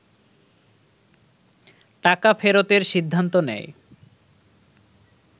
টাকা ফেরতের সিদ্ধান্ত নেয়